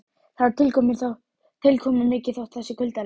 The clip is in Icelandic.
Það er tilkomumikið þótt það sé kuldalegt.